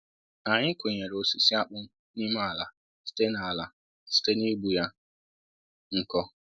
anyị kụnyere osisi akpụ n'ime ala site ala site n'igbu ya nkọ